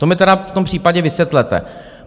To mi tedy v tom případě vysvětlete!